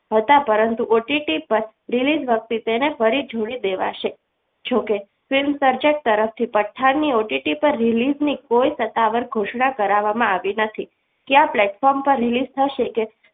હતા પરંતુ OTT પર release વખતે તેને ફરી જોડી દેવાશે ઈચ્છો છો કે film માં સર્જક તરફથી પઠાની ઉટી પર release ની કોઈ સત્તાવાર ઘોષણા કરાવવામાં આવી નથી કયા platform પર release થશે કે